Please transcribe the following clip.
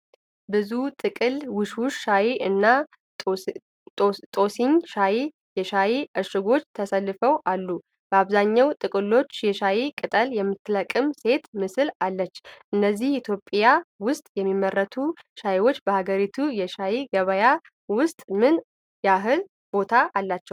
ብዙ ጥቅል "ውሽውሽ ሻይ" እና "ቶሲኝ ሻይ" የሻይ እሽጎች ተሰልፈው አሉ:: አብዛኞቹ ጥቅሎች የሻይ ቅጠል የምትለቅም ሴት ምስል አላቸው:: እነዚህ ኢትዮጵያ ውስጥ የሚመረቱ ሻዮች በሀገሪቱ የሻይ ገበያ ውስጥ ምን ያህል ቦታ አላቸው?